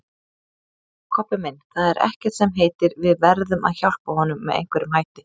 Kobbi minn, það er ekkert sem heitir, við verðum að hjálpa honum með einhverjum hætti